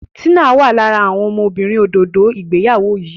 Tina wá lára àwọn ọmọbìnrin òdodo ìgbéyàwó yí.